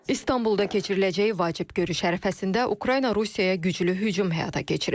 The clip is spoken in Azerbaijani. İstanbulda keçiriləcəyi vacib görüş ərəfəsində Ukrayna Rusiyaya güclü hücum həyata keçirib.